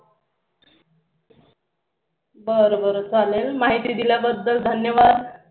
बर बर चालेल माहिती दिल्याबद्दल धन्यवाद